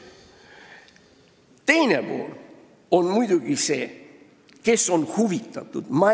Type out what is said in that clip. Teine pool on muidugi see, kes on asjast huvitatud.